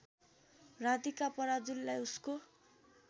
राधिका पराजुलीलाई उसको